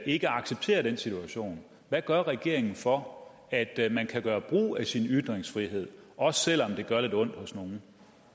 ikke accepterer den situation hvad gør regeringen for at man kan gøre brug af sin ytringsfrihed også selv om det gør lidt ondt hos nogle